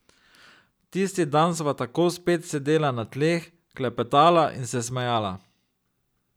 Tisti dan sva tako spet sedela na tleh, klepetala in se smejala.